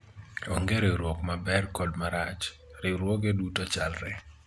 onge riwruok maber kod marach ,riwruoge duto chalre